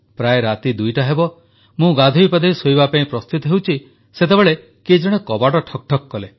ପ୍ରାୟ 2ଟା ହେବ ମୁଁ ଗାଧୋଇପାଧୋଇ ଶୋଇବା ପାଇଁ ପ୍ରସ୍ତୁତ ହେଉଛି ସେତେବେଳେ କିଏ ଜଣେ କବାଟ ଠକ୍ ଠକ୍ କଲେ